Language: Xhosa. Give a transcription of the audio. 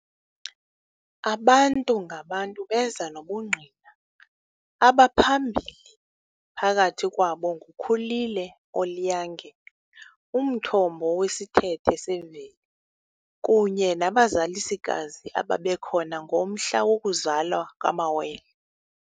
Abantu-ngabantu beza nobungqina, abaphambili phakathi kwabo nguKhulile oliiyange- umthobo wesithethe semveli, kunye nabazalisikazi ababekhona ngomhla wokuzalwa kwamawele.